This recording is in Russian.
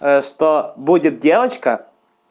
что будет девочка